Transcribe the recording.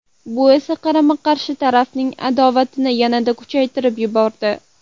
Bu esa qarama-qarshi taraflarning adovatini yanada kuchaytirib yubordi.